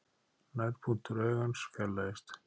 Nærpunktur augans fjarlægist.